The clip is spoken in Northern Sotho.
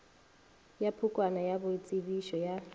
ya pukwana ya boitsebišo ya